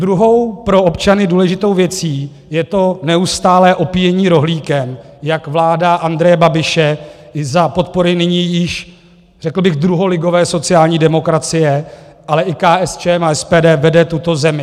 Druhou pro občany důležitou věcí je to neustálé opíjení rohlíkem, jak vláda Andreje Babiše i za podpory nyní již, řekl bych, druholigové sociální demokracie, ale i KSČM a SPD vede tuto zemi.